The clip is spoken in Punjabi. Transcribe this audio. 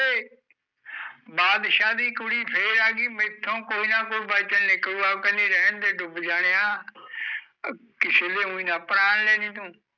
ਬਾਦਸ਼ਾਹ ਦੀ ਕੁੜੀ ਫੇਰ ਆਗੀ, ਮੈਥੋਂ ਕੋਈ ਨਾ ਕੋਈ ਵਚਨ ਨਿਕਲੂਗਾ, ਕਹਿੰਦੀ ਰਹਣਦੇ ਡੁੱਬ ਜਾਣਿਆ ਅਹ ਕਿਸੀ ਦੇ ਊਈ ਨਾ ਪ੍ਰਾਨ ਲੈ ਲਈ ਤੂੰ